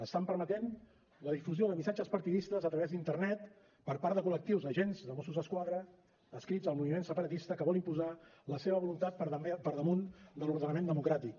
estan permetent la difusió de missatges partidistes a través d’internet per part de col·lectius d’agents de mossos d’esquadra adscrits al moviment separatista que volen imposar la seva voluntat per damunt de l’ordenament democràtic